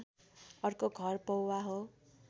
अर्को घर पौवा हो